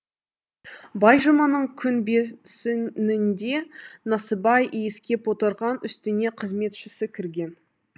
байжұманың күн бесінінде насыбай иіскеп отырған үстіне қызметшісі кірген